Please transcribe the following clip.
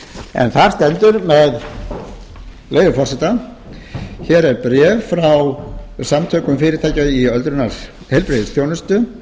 en þar stendur með leyfi forseta hér er bréf frá samtökum fyrirtækja í heilbrigðisþjónustu um